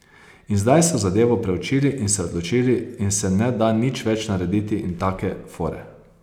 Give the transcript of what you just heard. In zdaj so zadevo preučili in se odločili in se ne da nič več narediti in take fore.